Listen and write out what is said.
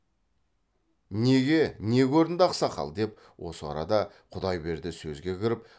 неге не көрінді ақсақал деп осы арада құдайберді сөзге кіріп